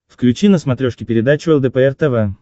включи на смотрешке передачу лдпр тв